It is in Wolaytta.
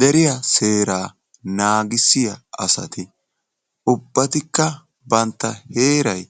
Deriyaa seera naagissiyaa asati ubbatikka banta heeray